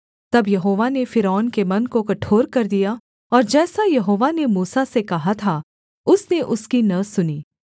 तब यहोवा ने फ़िरौन के मन को कठोर कर दिया और जैसा यहोवा ने मूसा से कहा था उसने उसकी न सुनी